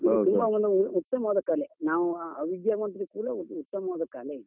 ತುಂಬಾ ಒಂದು ಉತ್ತಮವಾದ ಕಲೆ. ನಾವು ಅವಿದ್ಯಾವಂತರು ಕೂಡ ಉತ್ತಮವಾದ ಕಲೆ ಇದು.